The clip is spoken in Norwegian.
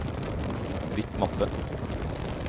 bytt mappe